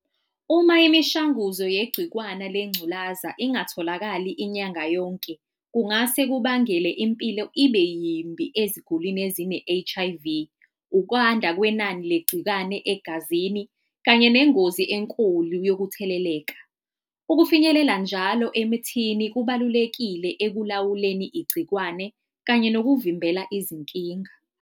Uma imishanguzo yegcikwana lengculaza ingatholakali inyanga yonke, kungase kubangele impilo ibe yimbi ezigulwini ezine-H_I_V. Ukwanda kwenani legcikwane egazini kanye nengozi enkulu yokutheleleka. Ukufinyelela njalo emthini kubalulekile ekulawuleni igcikwane kanye nokuvimbela izinkinga.